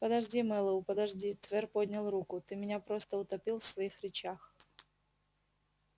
подожди мэллоу подожди твер поднял руку ты меня просто утопил в своих речах